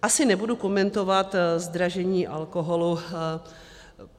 Asi nebudu komentovat zdražení alkoholu.